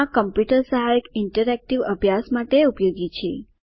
આ કમ્પ્યુટર સહાયક ઇન્ટરેક્ટિવ અભ્યાસ માટે ઉપયોગી છે